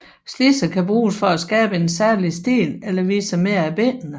Slidser kan bruges for at skabe en særlig stil eller vise mere af benene